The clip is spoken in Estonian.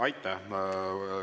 Aitäh!